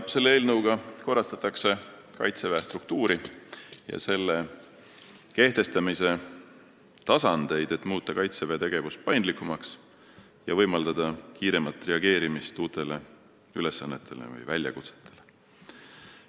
Selle eelnõuga korrastatakse Kaitseväe struktuuri ja selle kehtestamise tasandeid, et muuta Kaitseväe tegevus paindlikumaks ja võimaldada kiiremat reageerimist uutele ülesannetele või väljakutsetele.